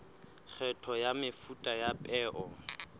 kgetho ya mefuta ya peo